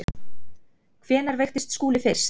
Hvenær veiktist Skúli fyrst?